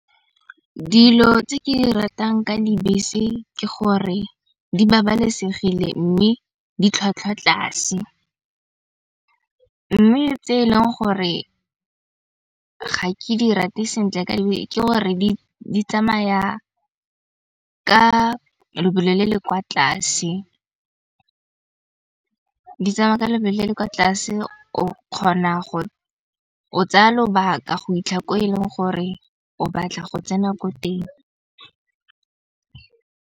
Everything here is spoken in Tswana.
Dilo tse ke di ratang ka dibese ke gore di babalesegile, mme ditlhwatlhwa tlase. Mme tse eleng gore ga ke di rate sentle ke gore di tsamaya ka lebelo le le kwa tlase. Di tsamaye ka lebelo le le kwa tlase o kgona go tsaya lobaka go ko e leng gore o batla go tsena ko teng.